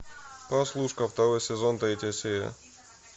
прослушка второй сезон третья серия